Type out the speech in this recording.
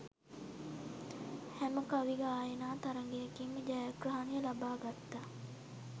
හැම කවි ගායනා තරගයකින්ම ජයග්‍රහණය ලබා ගත්තා